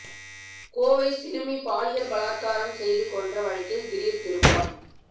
கோவை சிறுமி பாலியல் பலாத்காரம் செய்து கொன்ற வழக்கில் திடீர் திருப்பம்